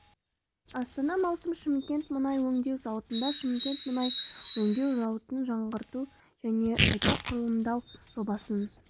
астана маусым шымкент мұнай өңдеу зауытында шымкент мұнай өңдеу зауытын жаңғырту және қайта құрылымдау жобасын